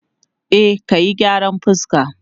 E, ka yi gyaran fuska.